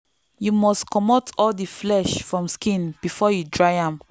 you must comot all the flesh from skin before you dry am.